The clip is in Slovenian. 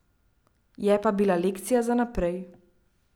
Je pa bila lekcija za naprej.